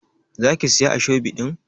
za ki Siya ashobi din?